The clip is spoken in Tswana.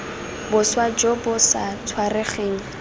boswa jo bo sa tshwaregeng